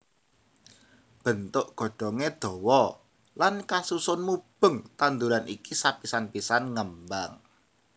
Bentuk godhongé dawa lan kasusun mubeng tanduran iki sapisan pisan ngembang